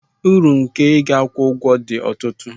Uru nke ịga akwụkwọ dị ọtụtụ